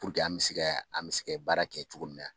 Puruke an mɛ se ka an bɛ se ka baara kɛ cogo min na.